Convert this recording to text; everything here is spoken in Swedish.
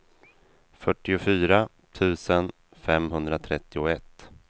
fyrtiofyra tusen femhundratrettioett